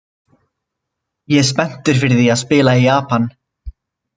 Ég er spenntur fyrir því að spila í Japan.